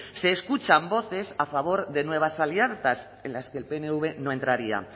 se escuchan voces a favor de nuevas alianzas en las que el pnv no entraría